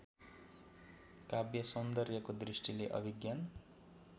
काव्यसौन्दर्यको दृष्टिले अभिज्ञान